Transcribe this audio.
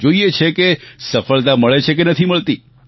જોઈએ છીએ કે સફળતા મળે છે કે નથી મળતી